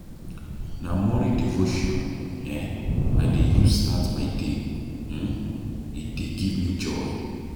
Na morning devotion um I dey use start my day, um e dey give me joy.